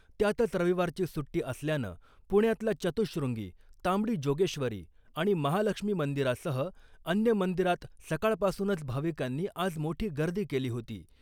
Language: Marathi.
त्यातच रविवारची सुट्टी असल्यानं पुण्यातल्या चतुश्रुंगी , तांबडी जोगेश्वरी आणि महालक्ष्मी मंदिरासह अन्य मंदिरात सकाळपासुनच भाविकांनी आज मोठी गर्दी केली होती .